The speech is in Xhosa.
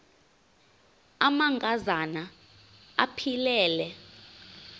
amanka zana aphilele